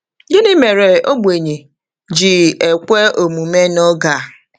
Gịnị mere ogbenye ji ekwe omume n’oge a?